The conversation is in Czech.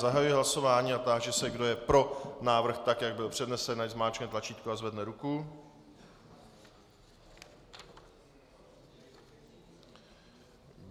Zahajuji hlasování a táži se, kdo je pro návrh, tak jak byl přednesen, ať zmáčkne tlačítko a zvedne ruku.